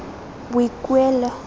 boikuelo